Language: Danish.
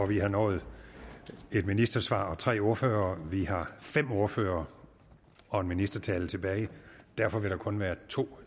vi har nået et ministersvar og tre ordførere og vi har fem ordførere og en ministertale tilbage derfor vil der kun være to